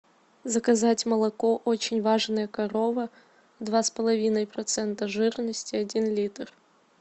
заказать молоко очень важная корова два с половиной процента жирности один литр